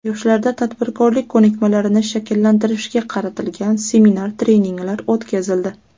Yoshlarda tadbirkorlik ko‘nikmalarini shakllantirishga qaratilgan seminar-treninglar o‘tkazildi.